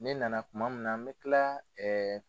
Ne na na kuma min na n bɛ kila